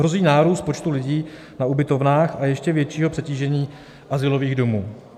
Hrozí nárůst počtu lidí na ubytovnách a ještě většího přetížení azylových domů.